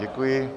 Děkuji.